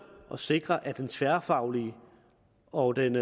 at sikre at den tværfaglige og den